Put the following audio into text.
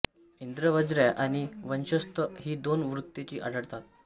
इंद्र व्रज्या आणि वंशस्थ ही दोन वृत्तेच आढळतात